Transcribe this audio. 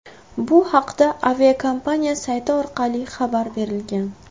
Bu haqda aviakompaniya sayti orqali xabar berilgan .